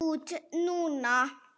Út núna?